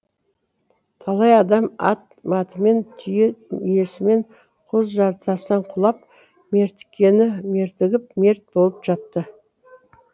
талай адам ат матымен түйе мүйесімен құз жартастан құлап мертіккені мертігіп мерт болып жатты